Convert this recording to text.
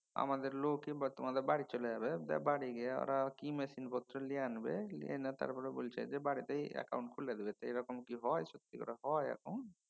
আমাদের লোকই তোমাদের বাড়ি চলে যাবে। বাড়ি গিয়া ওরা কি machine পত্র লিএ আনবে। লিয়ে এনে তারপর বলছে যে বাড়িতেই একাউন্ট খুলে দেবে সেইরকম কি হয় সত্যি করে হয় একাউন্ট